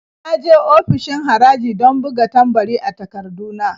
Na je ofishin haraji don buga tambari a takardu na.